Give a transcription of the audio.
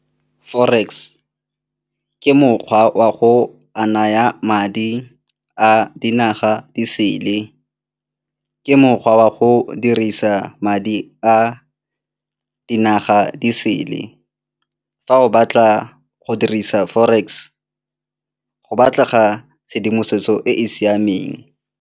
Forex, ke mokgwa wa go a naya madi a dinaga disele, ke mokgwa wa go dirisa madi a dinaga disele. Fa o batla go dirisa forex, go batlega tshedimosetso e e siameng.